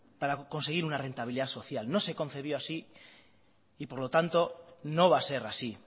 para conseguir una rentabilidad social no se concibió así y por lo tanto no va a ser así